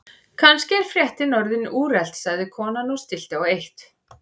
Kannski er fréttin orðin úrelt sagði konan og stillti á eitt.